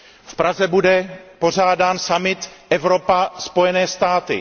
V Praze bude pořádán summit Evropa Spojené státy.